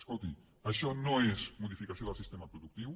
escolti això no és modificació del sistema productiu